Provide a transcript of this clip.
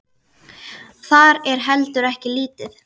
Það er heldur ekki lítið.